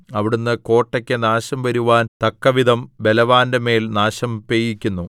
അവിടുന്ന് കോട്ടയ്ക്കു നാശം വരുവാൻ തക്കവിധം ബലവാന്റെ മേൽ നാശം പെയ്യിക്കുന്നു